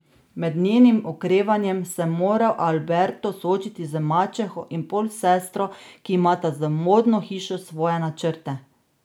Med njenim okrevanjem se mora Alberto soočiti z mačeho in polsestro , ki imata z modno hišo svoje načrte.